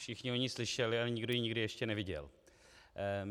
Všichni o ní slyšeli, ale nikdo ji nikdy ještě neviděl.